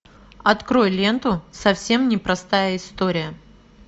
открой ленту совсем не простая история